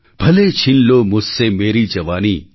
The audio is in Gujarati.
ભલે છીન લો મુઝસે મેરી જવાની